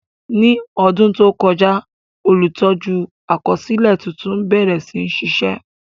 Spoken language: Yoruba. Ní ọdún tó kọjá, olùtọ́jú àkọsílẹ̀ tuntun bẹ̀rẹ̀ sí ní ṣiṣẹ́.